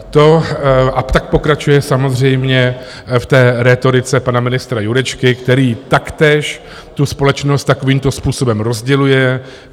A tak pokračuje samozřejmě v té rétorice pana ministra Jurečky, který taktéž tu společnost takovýmto způsobem rozděluje.